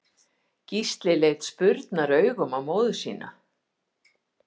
Gísli leit spurnaraugum á móður sína.